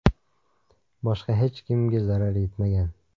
Boshqa hech kimga zarar yetmagan.